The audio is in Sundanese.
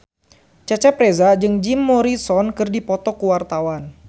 Cecep Reza jeung Jim Morrison keur dipoto ku wartawan